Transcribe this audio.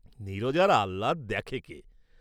নীরজার আহ্লাদ দেখে কে?